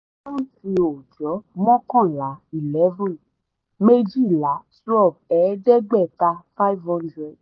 àkántì ọjọ́: mọ́kànlá eleven méjìlá twelve ẹ̀ẹ́dẹ́gbẹ̀ta five hundred